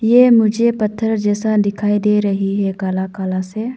ये मुझे पत्थर जैसा दिखाई दे रही है काला काला से--